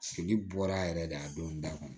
Fili bɔra yɛrɛ de a don da kɔnɔ